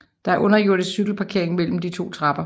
Der er underjordisk cykelparkering mellem de to trapper